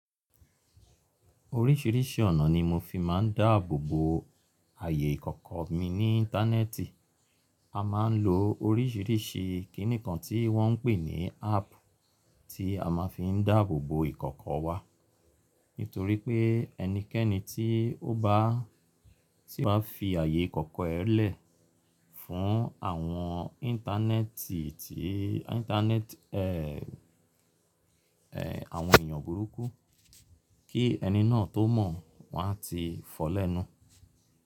Orísìrísì ọ̀nà ni mo fi máa ń dáàbò bo ààyè ìkọ̀kọ̀ mi ní íńtánẹ́ẹ̀tì. A máa ń lo orísìrísì kí nìkan tí wọ́n ń pè ní áàpù tí a máa fi ń dáàbò bo ìkọ̀kọ̀ wa. Nítorí pé ẹnikẹ́ni tí ó bá, tí ó bá fi ààyè ìkọ̀kọ̀ rẹ lẹ̀ fún àwọn íńtánẹ́ẹ̀tì tí íńtánẹ́ẹ̀tì, ẹ́ẹ́, ẹ́ẹ̀, àwọn èèyàn burúkú, kí ẹni náà tó mọ̀ wọ́n á ti fọ́ lẹ́nu.